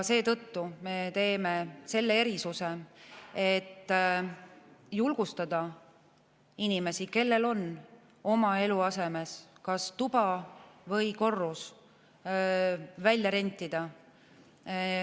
Seetõttu me teeme selle erisuse, et julgustada inimesi, kellel on oma eluasemest kas tuba või korrus välja rentida.